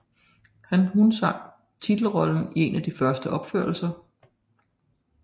Hun sang titelrollen i en af de første opførelser